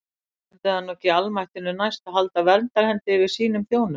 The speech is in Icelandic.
Stendur það nú ekki almættinu næst að halda verndarhendi yfir sínum þjónum?